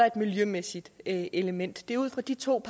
et miljømæssigt element det er ud fra de to